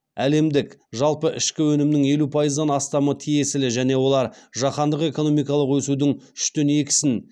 әлемдік жалпы ішкі өнімнің елу пайыздан астамы тиесілі және олар жаһандық экономикалық өсудің үштен екісін